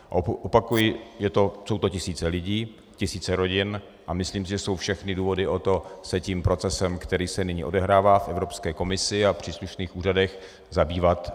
Opakuji, jsou to tisíce lidí, tisíce rodin a myslím si, že jsou všechny důvody pro to se tím procesem, který se nyní odehrává v Evropské komisi a příslušných úřadech, zabývat.